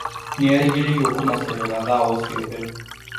Nĩerĩgĩrĩirwo kũmacerera thaa o ciothe